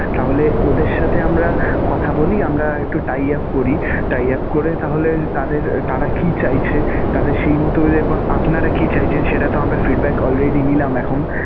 তাহলে ওদের সাথে আমরা কথা বলি. আমরা একটু tie up করি. Tie up করে তাহলে তাদের তাঁরা কি চাইছে, তাদের সেই মতভেদে এবং আপনারা কি চাইছেন সেটাতো আমরা feedback already নিলাম এখন.